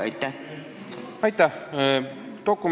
Aitäh!